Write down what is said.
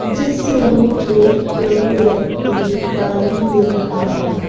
जिसमें एक व्यक्ति दिखाई दे रहा है।